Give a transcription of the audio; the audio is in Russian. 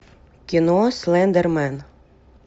кино слендермен